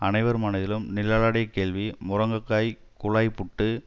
அனைவர் மனதிலும் நிழலாடிய கேள்வி முருங்கைக்காய் குழாய்புட்டு